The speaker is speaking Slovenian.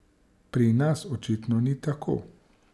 Pri nas očitno ni tako.